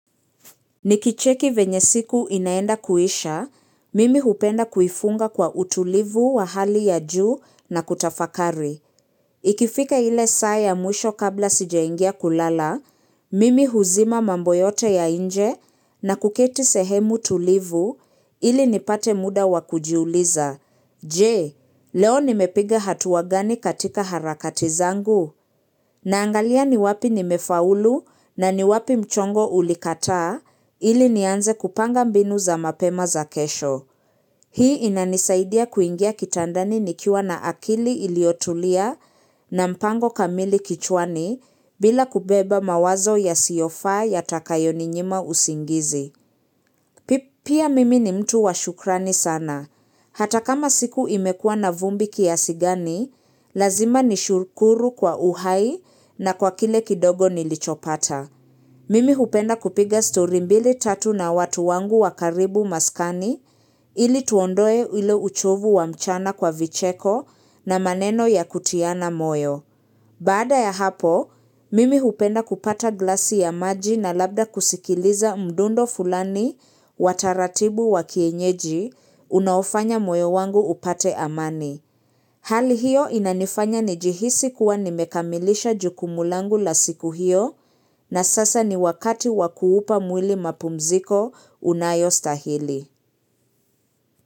Nikicheki venyesiku inaenda kuisha, mimi hupenda kuifunga kwa utulivu wa hali ya juu na kutafakari. Ikifika ile saa ya mwisho kabla sijaingia kulala, mimi huzima mamboyote ya nje na kuketi sehemu tulivu ili nipate muda wakujiuliza. Je, leo nimepiga hatuwa gani katika harakati zangu? Naangalia ni wapi nimefaulu na ni wapi mchongo ulikataa ili nianze kupanga mbinu za mapema za kesho. Hii inanisaidia kuingia kitandani nikiwa na akili iliotulia na mpango kamili kichwani bila kubeba mawazo yasiofaa ya takayo ninyima usingizi. Pia mimi ni mtu wa shukrani sana. Hata kama siku imekua na vumbi kiasi gani, lazima ni shukuru kwa uhai na kwa kile kidogo nilichopata. Mimi hupenda kupiga story mbili tatu na watu wangu wa karibu maskani ili tuondoe ile uchovu wa mchana kwa vicheko na maneno ya kutiana moyo. Baada ya hapo, mimi hupenda kupata glasi ya maji na labda kusikiliza mdundo fulani wa taratibu wa kienyeji, unaofanya moyo wangu upate amani. Hali hiyo inanifanya nijihisi kuwa nimekamilisha jukumulangu la siku hiyo na sasa ni wakati wakuupa mwili mapumziko unayo stahili.